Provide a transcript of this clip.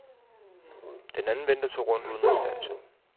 Den anden vendte sig rundt uden at standse.